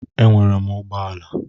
Enwere m ụgbọala.